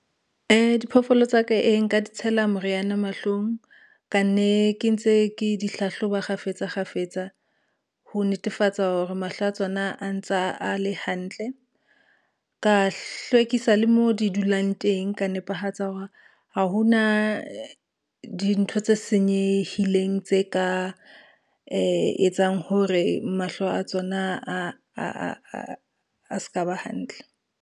Diphoofolo tsa ka, nka di tshela moriana mahlong ka nne ke ntse ke di hlahloba kgafetsakgafetsa, ho netefatsa hore mahlo a tsona a ntsa a le hantle. Ka hlwekisa le mo di dulang teng, ka nepahetsa hore ha hona dintho tse senyehileng tse ka etsang hore mahlo a tsona a ska ba hantle.